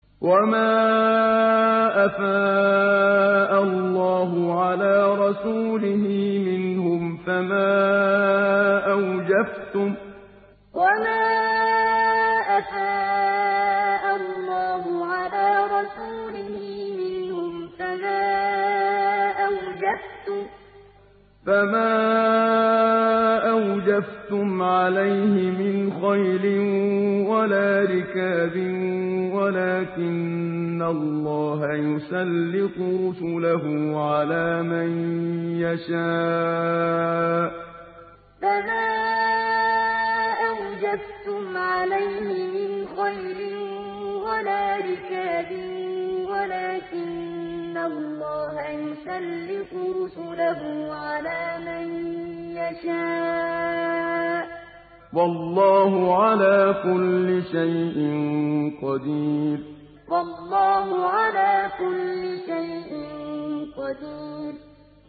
وَمَا أَفَاءَ اللَّهُ عَلَىٰ رَسُولِهِ مِنْهُمْ فَمَا أَوْجَفْتُمْ عَلَيْهِ مِنْ خَيْلٍ وَلَا رِكَابٍ وَلَٰكِنَّ اللَّهَ يُسَلِّطُ رُسُلَهُ عَلَىٰ مَن يَشَاءُ ۚ وَاللَّهُ عَلَىٰ كُلِّ شَيْءٍ قَدِيرٌ وَمَا أَفَاءَ اللَّهُ عَلَىٰ رَسُولِهِ مِنْهُمْ فَمَا أَوْجَفْتُمْ عَلَيْهِ مِنْ خَيْلٍ وَلَا رِكَابٍ وَلَٰكِنَّ اللَّهَ يُسَلِّطُ رُسُلَهُ عَلَىٰ مَن يَشَاءُ ۚ وَاللَّهُ عَلَىٰ كُلِّ شَيْءٍ قَدِيرٌ